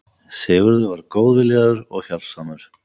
Sigurður var góð- viljaður og hjálpsamur.